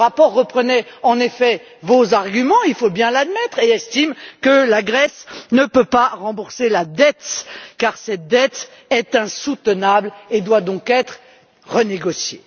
Ce rapport reprenait en effet vos arguments, il faut bien l'admettre, et estime que la Grèce ne peut pas rembourser la dette, car cette dette est insoutenable et doit donc être renégociée.